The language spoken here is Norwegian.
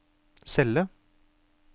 celle